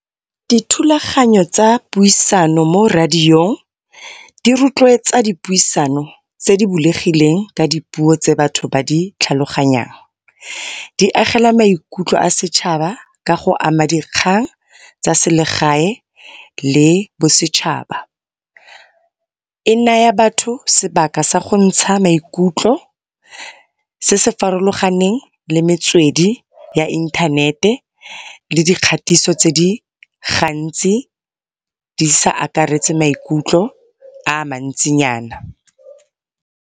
Dithulaganyo tsa puisano mo radiong di retloetsa dipuisano tse di bulegileng ka dipuo tse batho ba di tlhaloganyang. Di agela maikutlo a setšhaba ka go ama dikgang tsa selegae le bosetšhaba. E naya batho sebaka sagontsha maikutlo. Se se farologaneng le metswedi ya inthanete le di kgatiso tse di gantsi, di sa akaretse maikutlo a mantsinyana.